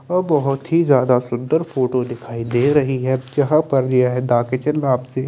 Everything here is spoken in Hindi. वह बहुत ही जादा सुन्दर फोटो दिखाई दे रही है यहा पर ये है दा किचन में आपसे --